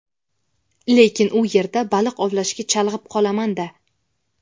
lekin u yerda baliq ovlashga chalg‘ib qolaman-da!.